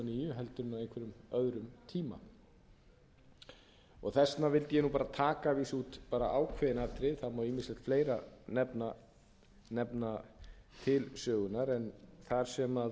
heldur á einhverjum öðrum tíma þess vegna vildi ég taka út ákveðin atriði það má ýmislegt fleira nefna til sögunnar en þar sem